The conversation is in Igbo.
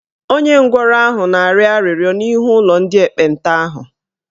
Onye ngwọrọ ahụ na-arịọ arịrịọ n'ihu ụlọ ndị ekpenta ahụ